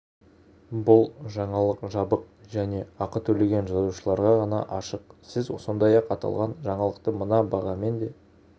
бұл жаңалық жабық және ақы төлеген жазылушыларға ғана ашық сіз сондай-ақ аталған жаңалықты мына бағамен де